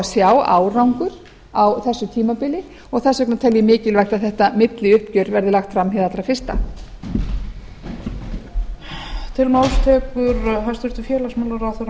sjá árangur á þessu tímabili og þess vegna tel ég mikilvægt að þetta milliuppgjör verði lagt fram hið allra fyrsta